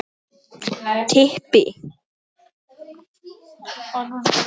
Björn Ingi: Haft eftir þér?